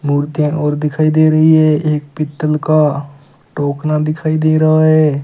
मुर्तियाँ और दिखाई दे रही है एक पीतल का टोकना दिखायी दे रहा है।